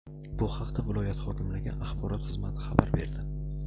Bu haqda viloyat hokimligi axborot xizmati xabar berdi.